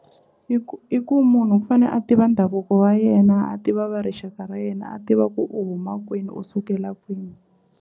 I ku i ku munhu u fane a tiva ndhavuko wa yena a tiva va rixaka ra yena a tiva ku u huma kwini u sukela kwihi.